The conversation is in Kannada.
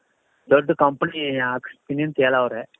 ದೊಡ್ಡ company ಹಾಕ್ಸ್ತೀನಿ ಅಂತ ಹೇಳವ್ರೆ.